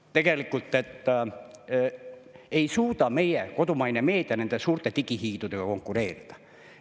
… et tegelikult ei suuda meie kodumaine meedia nende suurte digihiidudega konkureerida.